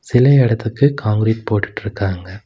சில இடத்துக்கு கான்கிரீட் போட்டுட்டு இருக்காங்க.